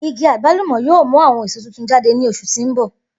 Igi agbalumo yoo mu awọn eso tuntun jade ni oṣu ti n bọ.